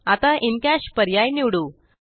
आता in cash पर्याय निवडू